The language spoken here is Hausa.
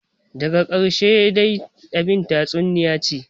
Daga karshe dai abin dai tatsuniyace ce,